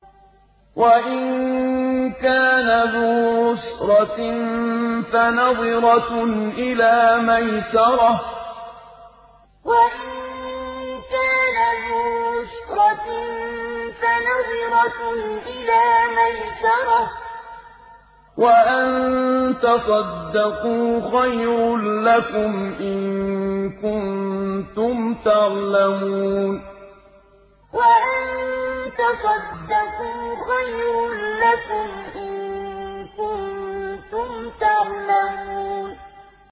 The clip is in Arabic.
وَإِن كَانَ ذُو عُسْرَةٍ فَنَظِرَةٌ إِلَىٰ مَيْسَرَةٍ ۚ وَأَن تَصَدَّقُوا خَيْرٌ لَّكُمْ ۖ إِن كُنتُمْ تَعْلَمُونَ وَإِن كَانَ ذُو عُسْرَةٍ فَنَظِرَةٌ إِلَىٰ مَيْسَرَةٍ ۚ وَأَن تَصَدَّقُوا خَيْرٌ لَّكُمْ ۖ إِن كُنتُمْ تَعْلَمُونَ